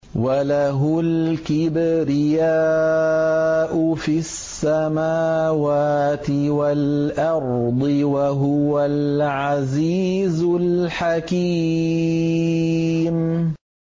وَلَهُ الْكِبْرِيَاءُ فِي السَّمَاوَاتِ وَالْأَرْضِ ۖ وَهُوَ الْعَزِيزُ الْحَكِيمُ